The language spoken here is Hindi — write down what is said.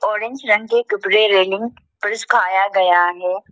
ऑरेंज रंग के कपड़े रेलिंग पर सुखाया गया हैं।